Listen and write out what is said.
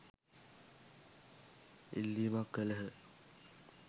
ඉල්ලීමක් කළහ.